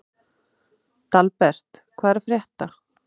Dalbert, hvað er að frétta?